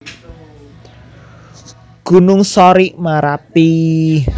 Gunung Sorik Marapi